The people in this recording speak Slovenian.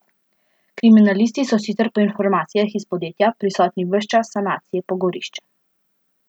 Kriminalisti so sicer po informacijah iz podjetja prisotni ves čas sanacije pogorišča.